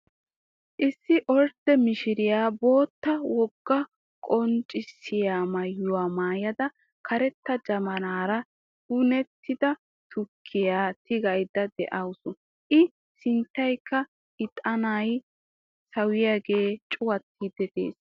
Issi ordde mishiriyaa bootta wogaa qonccisiyaa maayuwaa maayada karetta jabaanara penttida tukkiyaa tigaydda de'awus. i sinttankka iixanay saawiyaagee cuuwattiidi de'ees.